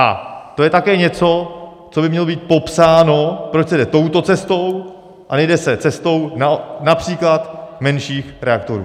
A to je také něco, co by mělo být popsáno, proč se jde touto cestou a nejde se cestou například menších reaktorů.